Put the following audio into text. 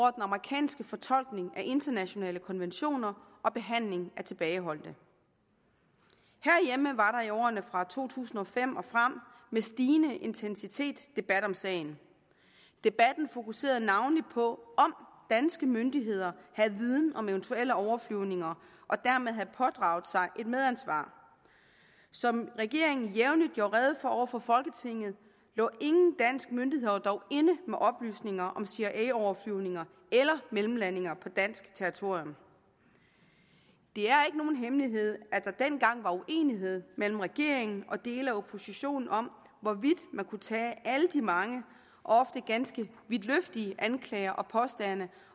amerikanske fortolkning af internationale konventioner og behandling af tilbageholdte herhjemme var der i årene fra to tusind og fem og frem med stigende intensitet debat om sagen debatten fokuserede navnlig på om danske myndigheder havde viden om eventuelle overflyvninger og dermed havde pådraget sig et medansvar som regeringen jævnligt gjorde rede for over for folketinget lå ingen danske myndigheder dog inde med oplysninger om cia overflyvninger eller mellemlandinger på dansk territorium det er ikke nogen hemmelighed at der dengang var uenighed mellem regeringen og dele af oppositionen om hvorvidt man kunne tage alle de mange og ofte ganske vidtløftige anklager og påstande